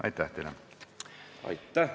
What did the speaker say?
Aitäh teile!